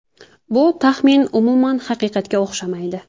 Bu taxmin umuman haqiqatga o‘xshamaydi.